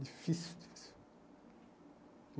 Difícil, difícil.